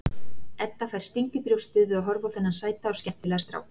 Edda fær sting í brjóstið við að horfa á þennan sæta og skemmtilega strák.